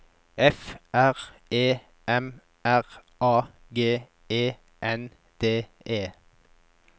F R E M R A G E N D E